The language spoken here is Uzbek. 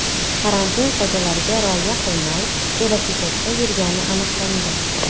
karantin qoidalariga rioya qilmay, velosipedda yurgani aniqlangan.